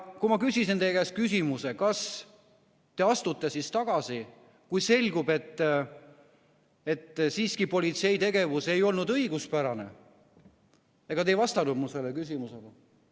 Kui ma küsisin teie käest küsimuse, kas te astute siis tagasi, kui selgub, et siiski politsei tegevus ei olnud õiguspärane, siis ega te ei vastanud mu küsimusele.